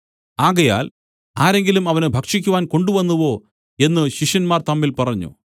ആകയാൽ ആരെങ്കിലും അവന് ഭക്ഷിക്കുവാൻ കൊണ്ടുവന്നുവോ എന്നു ശിഷ്യന്മാർ തമ്മിൽ പറഞ്ഞു